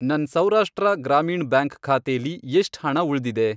ನನ್ ಸೌರಾಷ್ಟ್ರ ಗ್ರಾಮೀಣ್ ಬ್ಯಾಂಕ್ ಖಾತೆಲಿ ಎಷ್ಟ್ ಹಣ ಉಳ್ದಿದೆ?